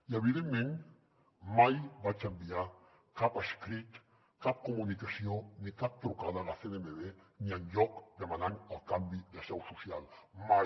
i evidentment mai vaig enviar cap escrit cap comunicació ni cap trucada a la cnmv ni enlloc demanant el canvi de seu social mai